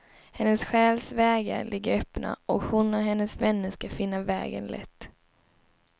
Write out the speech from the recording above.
Hennes själs vägar ligger öppna, och hon och hennes vänner ska finna vägen lätt.